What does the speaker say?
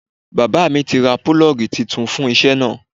Bàbá mi ti ra 'Púlọ́gì' titun fún isẹ́ náà